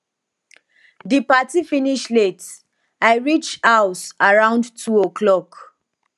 di party finish late i reach house around 2 oclock